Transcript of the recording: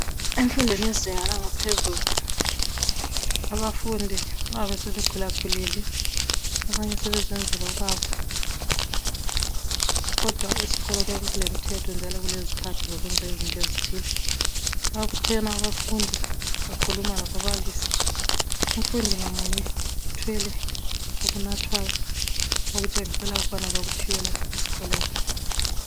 Emfundweni yezinga langaphezulu abafundi babe sebakhula khulile abanye sebezenzela okwabo kodwa esikolo kuyabe kulemthetho njalo kulezikhathi zokwenza izinto ezithile, makuthe abafundi bakhuluma lababalisi umfundi ngamunye uthwele okunathwayo okutshengisela bakuphiwe lapha esikolweni.